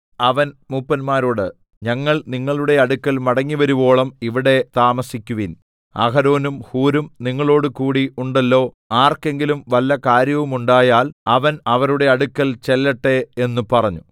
അവൻ മൂപ്പന്മാരോട് ഞങ്ങൾ നിങ്ങളുടെ അടുക്കൽ മടങ്ങിവരുവോളം ഇവിടെ താമസിക്കുവിൻ അഹരോനും ഹൂരും നിങ്ങളോടുകൂടി ഉണ്ടല്ലോ ആർക്കെങ്കിലും വല്ല കാര്യവുമുണ്ടായാൽ അവൻ അവരുടെ അടുക്കൽ ചെല്ലട്ടെ എന്ന് പറഞ്ഞു